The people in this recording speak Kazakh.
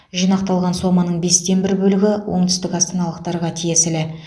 жинақталған соманың бестен бір бөлігі оңтүстік астаналықтарға тиесілі